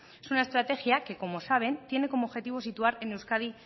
es una estrategia que como saben tiene como objetivo situar